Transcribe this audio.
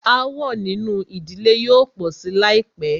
Aàwọ̀ nínú ìdílé yóò pọ̀ sí láìpẹ́.